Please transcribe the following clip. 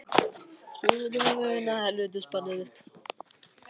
Í fyrsta sinn á mínum flekk lausa ferli.